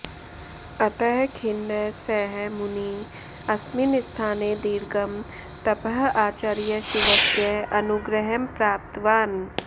अतः खिन्नः सः मुनिः अस्मिन् स्थाने दीर्घं तपः आचर्य शिवस्य अनुग्रहं प्राप्तवान्